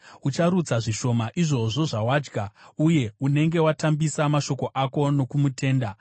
Ucharutsa zvishoma izvozvo zvawadya, uye unenge watambisa mashoko ako nokumutenda.